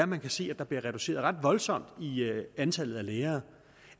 man kan se at der bliver reduceret ret voldsomt i antallet af lærere